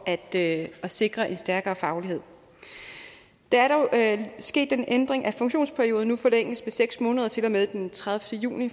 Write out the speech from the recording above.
at sikre en stærkere faglighed der er dog sket den ændring at funktionsperioden nu forlænges med seks måneder til og med den tredivete juni